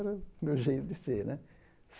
Era o meu jeito de ser, né?